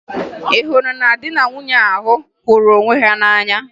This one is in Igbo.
Ị hụrụ di na nwunye ahụ hụrụ onwe ha n'anya?